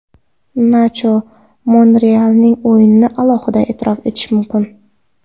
Nacho Monrealning o‘yinini alohida e’tirof etish mumkin.